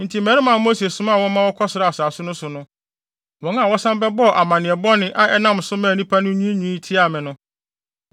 Enti mmarima a Mose somaa wɔ ma wɔkɔsraa asase no so no, wɔn a wɔsan ba bɛbɔɔ amanneɛ bɔne a ɛnam so maa nnipa no nyinaa nwiinwii tiaa me no,